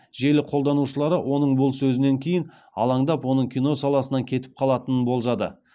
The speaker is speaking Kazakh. желі қолданушылары оның бұл сөзінен кейін алаңдап оның кино саласынан кетіп қалатынын болжады